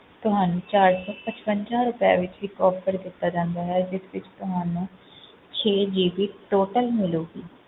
ਤੁਹਾਨੂੰ ਚਾਰ ਸੌ ਪਚਵੰਜਾ ਰੁਪਏ ਵਿੱਚ ਇੱਕ offer ਦਿੱਤਾ ਜਾਂਦਾ ਹੈ, ਜਿਸ ਵਿੱਚ ਤੁਹਾਨੂੰ ਛੇ GB total ਮਿਲੇਗੀ।